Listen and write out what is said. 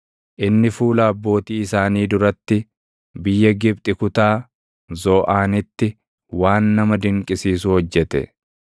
Inni fuula abbootii isaanii duratti, biyya Gibxi kutaa Zooʼaanitti waan nama dinqisiisu hojjete.